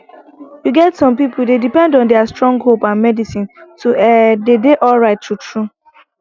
you get some people dey depend on their strong hope and medicine to ehh dey dey alright truetrue